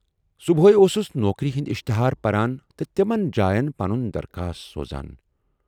صُبحے اوسُس نوکری ہٕندۍ اِشتہار پَران تہٕ تِمن جایَن پنُن درخاست سوزان۔